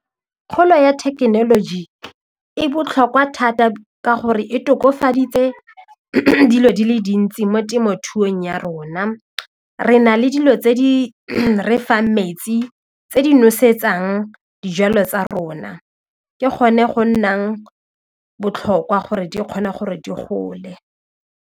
Kgolo ya thekenoloji e botlhokwa thata ka gore e tokofaditse dilo di le dintsi mo temothuong ya rona, re na le dilo tse di re fang metsi tse di nosetsang dijalo tsa rona ke gone go nnang botlhokwa gore di kgona gore di gole.